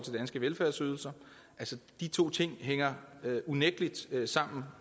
danske velfærdsydelser altså de to ting hænger unægtelig sammen